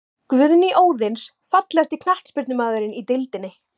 Guðný Óðins Fallegasti knattspyrnumaðurinn í deildinni?